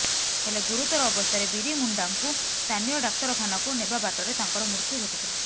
ହେଲେ ଗୁରୁତର ଅବସ୍ଥାରେ ବିରି ମୁଣ୍ଡାଙ୍କୁ ସ୍ଥାନୀୟ ଡାକ୍ତରଖାନାକୁ ନେବା ବାଟରେ ତାଙ୍କର ମୃତ୍ୟୁ ଘଟିଥିଲା